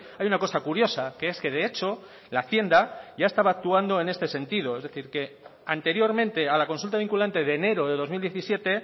hay una cosa curiosa que es que de hecho la hacienda ya estaba actuando en este sentido es decir que anteriormente a la consulta vinculante de enero de dos mil diecisiete